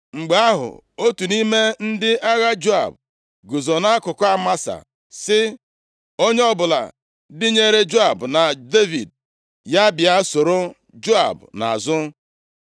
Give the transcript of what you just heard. Mgbe ahụ, otu nʼime ndị agha Joab guzo nʼakụkụ Amasa sị, “Onye ọbụla dịnyeere Joab na Devid ya bịa soro Joab nʼazụ.”